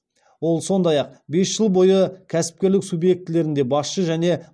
ол сондай ақ бес жыл бойы кәсіпкерлік субъектілерінде басшы және